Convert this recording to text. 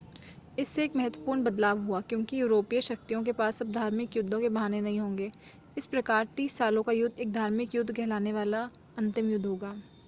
इससे एक महत्वपूर्ण बदलाव हुआ क्योंकि यूरोपीय शक्तियों के पास अब धार्मिक युद्धों के बहाने नहीं होंगे इस प्रकार तीस साल का युद्ध एक धार्मिक युद्ध कहलाने वाला अंतिम युद्ध होगा